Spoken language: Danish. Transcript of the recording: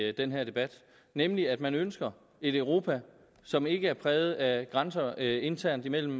i den her debat nemlig at man ønsker et europa som ikke er præget af grænser internt imellem